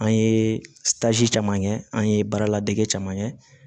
An ye caman kɛ an ye baara ladege caman kɛ